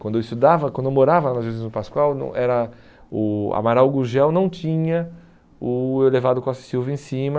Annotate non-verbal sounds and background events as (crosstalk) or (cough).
Quando eu estudava, quando eu morava na (unintelligible) Pascoal, não era o Amaral Gurgel não tinha o elevado Costa e Silva em cima,